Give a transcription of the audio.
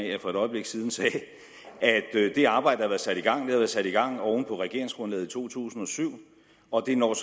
at jeg for et øjeblik siden sagde at det arbejde der har været sat i gang har været sat i gang oven på regeringsgrundlaget i to tusind og syv og det når